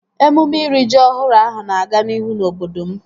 Emume iri ji ọhụrụ ahụ na-aga n'ihu na obodo m